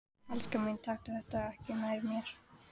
Elskan mín, taktu þetta ekki nærri þér.